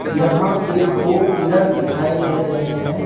यहां पे दो पिलर दिखाई दे रहे हैं।